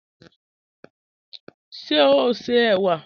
Ṣé o ṣé ewa?